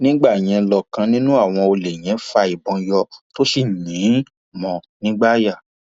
nígbà yẹn lọkàn nínú àwọn olè yẹn fa ìbọn yọ tó sì yìn ín mọ ọ nígbáàyà